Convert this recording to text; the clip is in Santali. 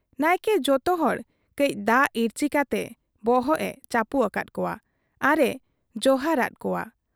ᱱᱟᱭᱠᱮ ᱡᱚᱛᱚ ᱦᱚᱲ ᱠᱟᱹᱡ ᱫᱟᱜ ᱤᱨᱪᱤ ᱠᱟᱛᱮ ᱵᱚᱦᱚᱜ ᱮ ᱪᱟᱹᱯᱩ ᱟᱠᱟᱫ ᱠᱚᱣᱟ ᱟᱨ ᱮ ᱡᱚᱦᱟᱨ ᱟᱫ ᱠᱚᱣᱟ ᱾